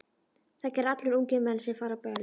Það gera allir ungir menn sem fara á böll.